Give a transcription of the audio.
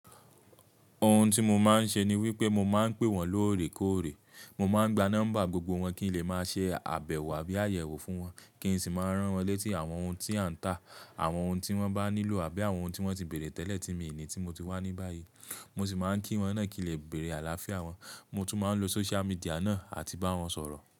Ohun tí mo máa ń ṣe ni wípé mo máa ń pè wón lóòrèkóòrè, mo máa ń gba nọ́mbà gbogbo wón kí n lè máa ṣe àbẹ̀wò àbí àyẹ̀wò fún wón, kí n sì máa rán wón létí àwọn ohun tí a ń tà, àwọn ohun tí wón bá nílò àbí àwọn ohun tí wón ti bèèrè tẹ́lẹ̀ tí mi ni tí mo ti wá ní báyìí. Mo sì máa ń kí wón náà kí n lè bèèrè àlàáfíà wón, mo tún máa ń lo social media náà àti bá wón sọ̀rọ̀.